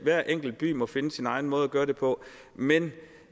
hver enkelt by må finde sin egen måde at gøre det på men